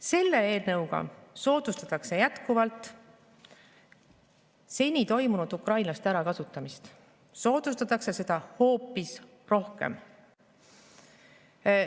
Selle eelnõuga soodustatakse jätkuvalt seni toimunud ukrainlaste ärakasutamist, ja soodustatakse seda hoopis rohkem.